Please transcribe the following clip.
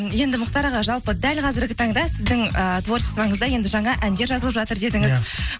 енді мұхтар аға жалпы дәл қазіргі таңда сіздің ыыы творчествоңызда енді жаңа әндер жазылып жатыр дедіңіз иә